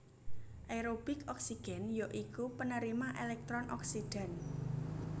Aerobik oksigen ya iku penerima elektron oksidan